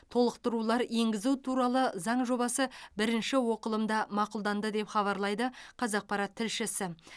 толықтырулар енгізу туралы заң жобасы бірінші оқылымда мақұлданды деп хабарлайды қазақпарат тілшісі